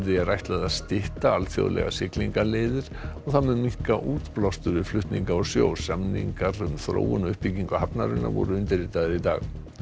er ætlað að stytta alþjóðlegar siglingaleiðir sem mun minnka útblástur við flutninga á sjó samningar um þróun og uppbyggingu hafnarinnar voru undirritaðir í dag